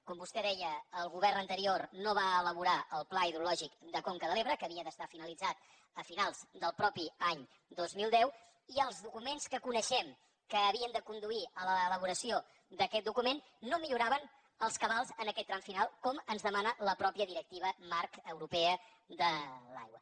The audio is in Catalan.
com vostè deia el govern anterior no va elaborar el pla hidrològic de conca de l’ebre que havia d’estar finalitzat a finals del mateix any dos mil deu i els documents que coneixem que havien de conduir l’elaboració d’aquest document no milloraven els cabals en aquest tram final com ens demana la mateixa directiva marc europea de l’aigua